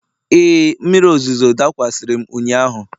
Ee, mmiri ozuzo dakwasịrị m ụnyahụ.